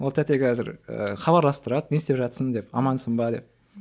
ол тәте қазір ыыы хабарласып тұрады не істеп жатырсың деп амансың ба деп